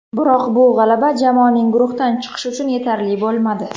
Biroq bu g‘alaba jamoaning guruhdan chiqishi uchun yetarli bo‘lmadi.